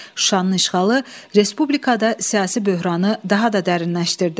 Şuşanın işğalı respublikada siyasi böhranı daha da dərinləşdirdi.